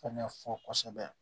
Fɛnɛ fɔ kosɛbɛ